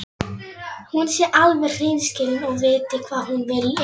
Hún sé alveg hreinskilin og viti hvað hún vilji.